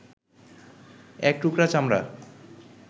এক টুকরো চামড়া